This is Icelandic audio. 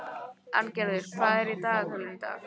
Arngerður, hvað er í dagatalinu í dag?